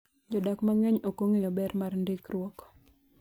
Jodak mang’eny ok ong’eyo ber mar ndikruok.